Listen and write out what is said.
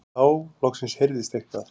Þá loksins heyrðist eitthvað.